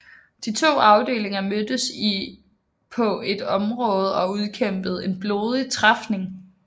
De to afdelinger mødtes i på et område og udkæmpede en blodig træfning